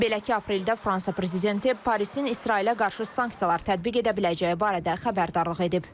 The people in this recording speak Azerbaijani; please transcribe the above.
Belə ki, apreldə Fransa prezidenti Parisin İsrailə qarşı sanksiyalar tətbiq edə biləcəyi barədə xəbərdarlıq edib.